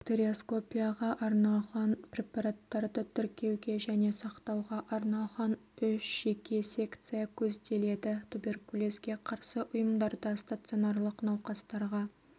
бактериоскопияға арналған препараттарды тіркеуге және сақтауға арналған үш жеке секция көзделеді туберкулезге қарсы ұйымдарда стационарлық науқастарға